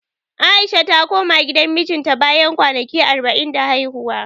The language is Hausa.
A'isha ta koma gidan mijinta, bayan kwanaki arba'in da haihuwa.